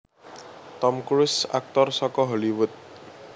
Tom Cruise Aktor saka Hollywood